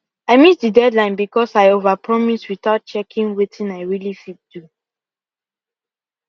i miss the deadline because i overpromise without checking wetin i really fit do